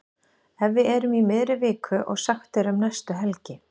Ef við erum í miðri viku og sagt er um næstu helgi.